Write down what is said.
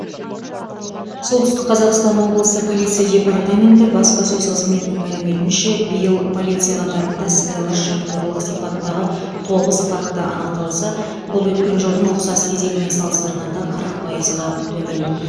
солтүстік қазақстан облысы полиция департаменті баспасөз қызметінің мәліметінше биыл полиция қатарында сыбайлас жемқорлық сипаттағы тоғыз факті анықталса бұл өткен жылдың ұқсас кезеңімен салыстырғанда қырық пайызға төмен